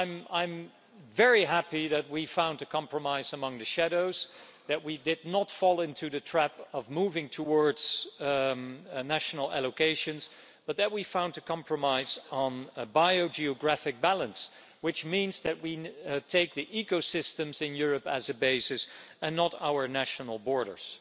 I'm very happy that we found a compromise among the shadows and that we did not fall into the trap of moving towards national allocations, but that we found a compromise on a bio geographic balance, which means that we take the ecosystems in Europe as a basis and not our national borders.